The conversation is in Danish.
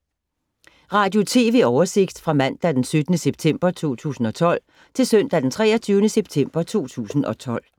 Radio/TV oversigt fra mandag d. 17. september 2012 til søndag d. 23. september 2012